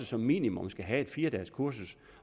som minimum skal have et fire dages kursus